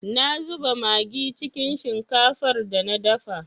Na zuba magi cikin shinkafar da na dafa.